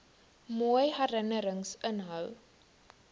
mooi herinnerings inhou